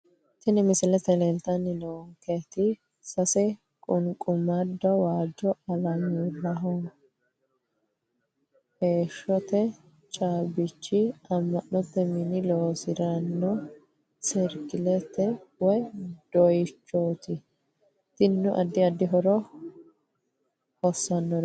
Tini misilete leeltani noonketi sase qunqumado waajo alamurahoheeshote caabichi ama`note mini loosirino serkileeti woyi doyichooti tinino adi adi horora hosaraati.